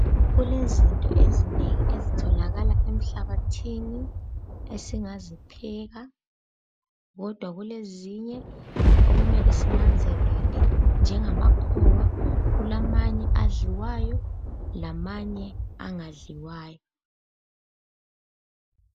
Kulezinto ezinengi ezitholakala emhlabathini esingazipheka kodwa kulezinye okumele sinanzelele njengamakhowa kulamanye adliwayo lamanye angadliwayo.